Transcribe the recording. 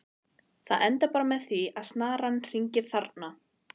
Það endar bara með því að snaran hangir þarna!